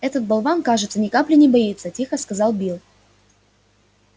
этот болван кажется ни капли не боится тихо сказал билл